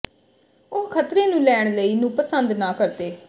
ਉਹ ਖਤਰੇ ਨੂੰ ਲੈਣ ਲਈ ਨੂੰ ਪਸੰਦ ਨਾ ਕਰਦੇ